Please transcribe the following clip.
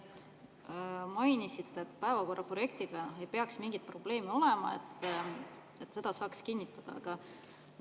Te mainisite, et päevakorra projektiga ei peaks mingeid probleeme olema, seda saab kinnitada.